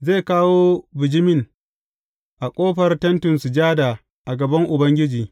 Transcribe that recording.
Zai kawo bijimin a ƙofar Tentin Sujada a gaban Ubangiji.